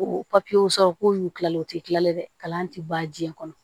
Ko papiyew sɔrɔ k'o y'u kilalen o ti kilalen dɛ kalan ti ban jiɲɛ kɔnɔ